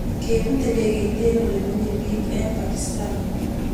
Kepuut ndekeit eng olemenyee piik eng pakistan